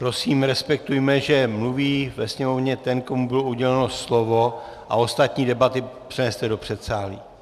Prosím, respektujme, že mluví ve sněmovně ten, komu bylo uděleno slovo, a ostatní debaty přeneste do předsálí.